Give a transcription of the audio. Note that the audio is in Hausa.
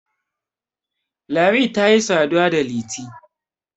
lami ta yi saduwa da liti